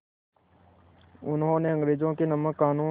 उन्होंने अंग्रेज़ों के नमक क़ानून